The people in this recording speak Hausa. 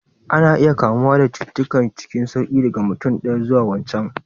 Ana iya kamuwa da cututtuka cikin sauƙi daga mutum ɗaya zuwa wancan